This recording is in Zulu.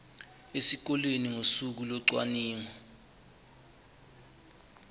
esikoleni ngosuku locwaningo